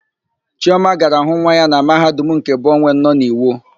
Chioma gara hụ nwa ya nwaanyị na Mahadum nke Bọwen nọ n'Iwo.